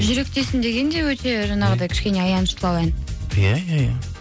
жүректесің деген де өте жаңағындай кішкене аяныштылау ән иә иә иә